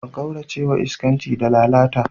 A kaurace wa iskanci da lalata.